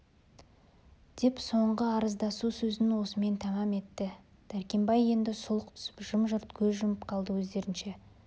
деп соңғы арыздасу сөзін осымен тамам етті дәркембай енді сұлық түсіп жым-жырт көз жұмып қалды өздерінше